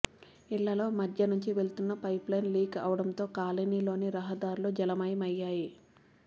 ఇళ్లలో మధ్యనుంచి వెళ్తున్న పైపులైన్ లీక్ అవడంతో కాలనీలోని రహదారులు జల మయమయ్యాయి